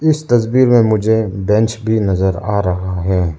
इस तस्वीर में मुझे बेंच भी नजर आ रहा है।